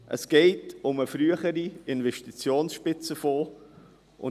Es geht um den früheren Investitionsspitzenfonds.